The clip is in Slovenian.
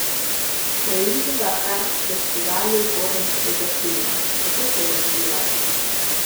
Preidiva kar k Festivalu gorniškega filma, kako se je razvijal?